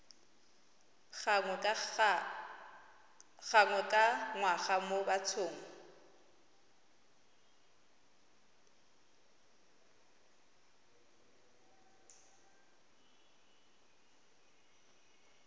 gangwe ka ngwaga mo bathong